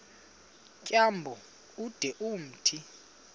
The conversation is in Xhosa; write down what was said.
tyambo ude umthi